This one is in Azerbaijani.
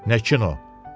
Nə kino?